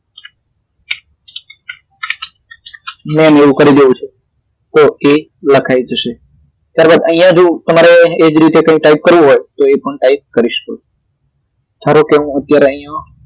ત્યાં એવું કરી દેવું છે તો એ ok લખાઈ જશે ત્યારબાદ અહિયાં જો તમારે એ જ રીતે ટાઇપ કરવું હોય તો એ પણ ટાઇપ કરી શકો ધારો કે હું અત્યારે અહિયાં